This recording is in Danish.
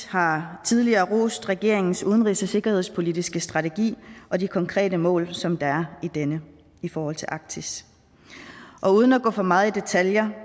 har tidligere rost regeringens udenrigs og sikkerhedspolitiske strategi og de konkrete mål som der er i denne i forhold til arktis og uden at gå for meget i detaljer